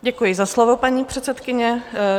Děkuji za slovo, paní předsedkyně.